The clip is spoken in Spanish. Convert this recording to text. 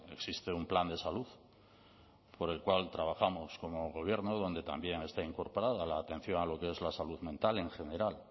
existe un plan de salud por el cual trabajamos como gobierno donde también está incorporada la atención a lo que es la salud mental en general